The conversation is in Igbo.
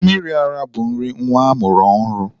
Mmiri ara bụ nri nwa amụrụ ọhụrụ.